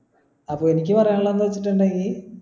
അപ്പൊ എനിക്ക് പറയാനുള്ളത് എന്താ വെച്ചിട്ടുണ്ടെങ്കി